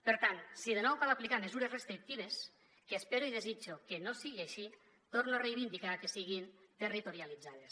per tant si de nou cal aplicar mesures restrictives que espero i desitjo que no sigui així torno a reivindicar que siguin territorialitzades